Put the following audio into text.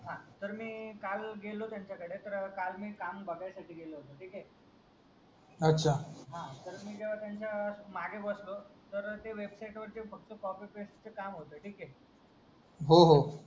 तर मी काल गेलो त्यांचा कडे तर काल मी काम भागायसाठी गेलो ठीक हे अच्छा तर मी त्याचा मागे बसलो तर ते वेबसाईट वरती फक्त कॉपी पेस्ट चा काम होता ठीक हे हो